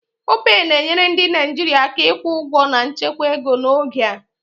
Opay na-enyere ndị Naijiria aka ịkwụ ụgwọ na nchekwa ego n'oge a